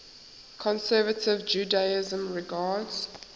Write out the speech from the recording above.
conservative judaism regards